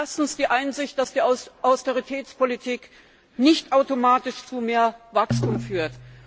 Erstens die Einsicht, dass die Austeritätspolitik nicht automatisch zu mehr Wachstum führt.